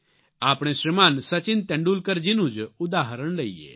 આપણે શ્રીમાન સચિન તેંડુલકરજીનું જ ઉદાહરણ લઇએ